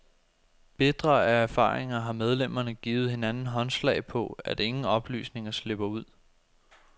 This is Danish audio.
Bitre af erfaringer har medlemmerne givet hinanden håndslag på, at ingen oplysninger slipper ud.